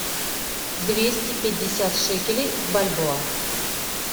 двести пятьдесят шекелей в бальбоа